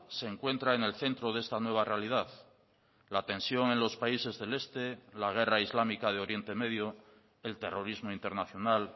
se encuentra en el centro de esta nueva realidad la tensión en los países del este la guerra islámica de oriente medio el terrorismo internacional